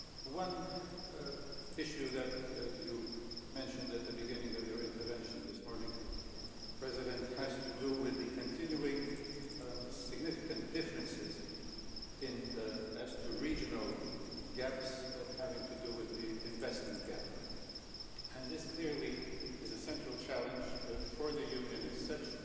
One issue that you mentioned at the beginning of your intervention this morning, President Hoyer, has to do with the continuing significant differences as to regional gaps, having to do with the investment gap, and this clearly is a central challenge for the Union as such,